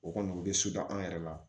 O kɔni u bɛ an yɛrɛ la